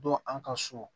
Dɔn an ka so